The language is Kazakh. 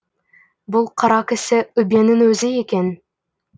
бұл қара кісі үббенің өзі екен